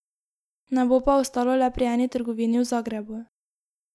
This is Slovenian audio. Ne bo pa ostalo le pri eni trgovini v Zagrebu.